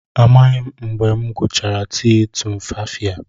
Amaghị m mgbe m gụchara tii tumfafiya